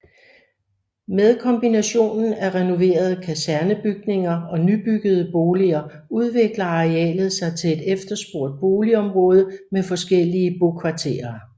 Med kombinationen af renoverede kasernebygninger og nybyggede boliger udvikler arealet sig til et efterspurgt boligområde med forskellige bokvarterer